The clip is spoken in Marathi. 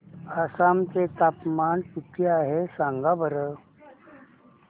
आसाम चे तापमान किती आहे सांगा बरं